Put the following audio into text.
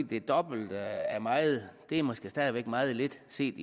det dobbelte af meget måske stadig væk er meget lidt set